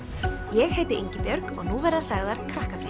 ég heiti Ingibjörg og nú verða sagðar